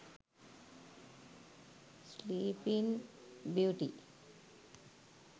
sleeping beauty